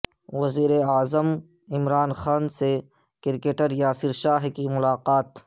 وزیراعظم عمران خان سے کرکٹر یاسر شاہ کی ملاقات